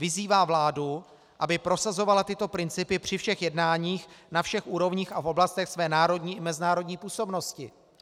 Vyzývá vládu, aby prosazovala tyto principy při všech jednáních na všech úrovních a v oblastech své národní i mezinárodní působnosti.